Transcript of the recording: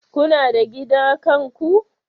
Kuna da gida kanku?